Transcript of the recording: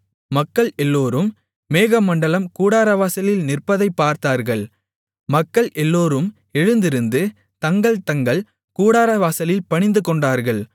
மக்கள் எல்லோரும் மேகமண்டலம் கூடாரவாசலில் நிற்பதைப் பார்த்தார்கள் மக்கள் எல்லோரும் எழுந்திருந்து தங்கள் தங்கள் கூடாரவாசலில் பணிந்துகொண்டார்கள்